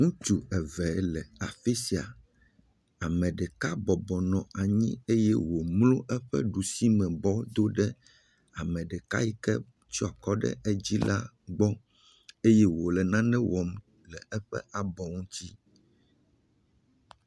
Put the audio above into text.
Ŋutsu eve le afi sia. Ame ɖeka bɔbɔnɔ anyi eye womlo eƒe ɖusimebɔ do ɖe ame ɖeka yi ke tsɔ akɔ ɖe edzi la gbɔ eye wole nane wɔm le eƒe abɔ ŋuti.